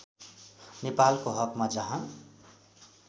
नेपालको हकमा जहाँ